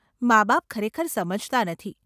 માબાપ ખરેખર સમજતા નથી.